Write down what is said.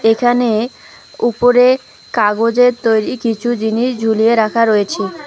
এখানে উপরে কাগজের তৈরি কিছু জিনিস ঝুলিয়ে রাখা রয়েছে।